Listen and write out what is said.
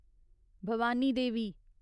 Bhavani Devi